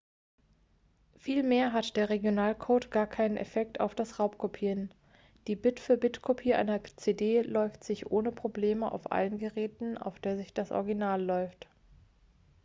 vielmehr hat der regionalcode gar keinen effekt auf das raubkopieren die bit-für-bit-kopie einer cd läuft sich ohne probleme auf allen geräten auf der sich das original läuft